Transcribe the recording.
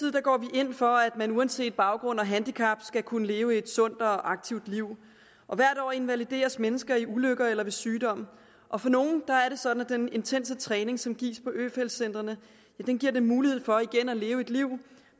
vi ind for at man uanset baggrund og handicap skal kunne leve et sundt og aktivt liv hvert år invalideres mennesker i ulykker eller ved sygdom og for nogle er det sådan at den intense træning som gives på øfeldt centrene giver dem mulighed for igen at leve et liv